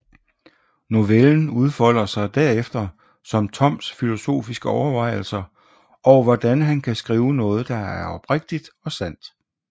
Novellen udfolder sig derefter som Toms filosofiske overvejelser over hvordan han kan skrive noget der er oprigtigt og sandt